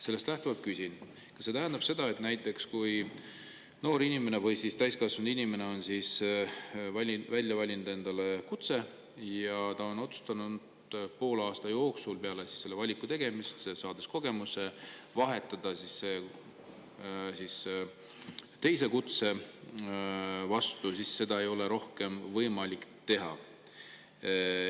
Sellest lähtuvalt küsin, kas see tähendab seda, et kui noor inimene või täiskasvanud inimene on välja valinud endale kutse ja otsustab poole aasta jooksul peale selle valiku tegemist, saades kogemuse, vahetada oma, siis seda ei ole rohkem võimalik teha.